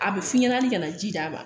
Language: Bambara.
A bɛ f'i ɲɛna ni ka na ji d'a ma